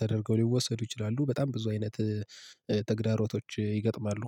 ተደርገው ሊወሰዱ ይችላሉ። በጣም ብዙ አይነት ተግዳሮቶች ይገጥማሉ።